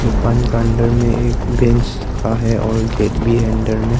दुकान का अंदर में एक बेंच रखा है और गेट भी अंदर में।